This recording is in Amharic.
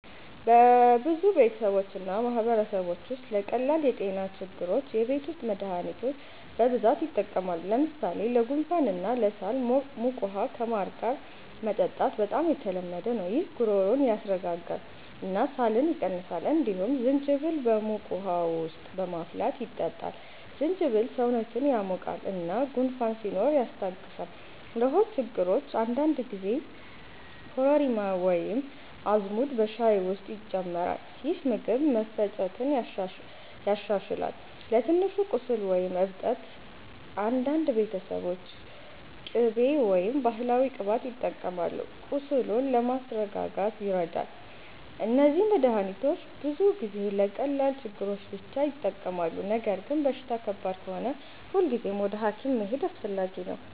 በብዙ ቤተሰቦች እና ማህበረሰቦች ውስጥ ለቀላል የጤና ችግሮች የቤት ውስጥ መድሃኒቶች በብዛት ይጠቀማሉ። ለምሳሌ ለጉንፋን እና ለሳል ሞቅ ውሃ ከማር ጋር መጠጣት በጣም የተለመደ ነው። ይህ ጉሮሮን ያስረጋጋል እና ሳልን ይቀንሳል። እንዲሁም ዝንጅብል በሞቅ ውሃ ውስጥ በማፍላት ይጠጣል። ዝንጅብል ሰውነትን ያሞቃል እና ጉንፋን ሲኖር ያስታግሳል። ለሆድ ችግሮች አንዳንድ ጊዜ ኮረሪማ ወይም አዝሙድ በሻይ ውስጥ ይጨመራል፣ ይህም ምግብ መፈጨትን ያሻሽላል። ለትንሽ ቁስል ወይም እብጠት አንዳንድ ቤተሰቦች ቅቤ ወይም ባህላዊ ቅባት ይጠቀማሉ፣ ቁስሉን ለማስረጋጋት ይረዳል። እነዚህ መድሃኒቶች ብዙ ጊዜ ለቀላል ችግሮች ብቻ ይጠቅማሉ። ነገር ግን በሽታ ከባድ ከሆነ ሁልጊዜ ወደ ሐኪም መሄድ አስፈላጊ ነው።